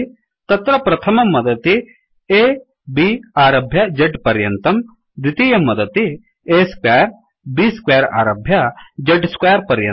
तत्र प्रथमं वदति aब् आरभ्य z पर्यन्तम् द्वितीयं वदति a squareb स्क्वेयर आरभ्य z स्क्वेयर पर्यन्तम्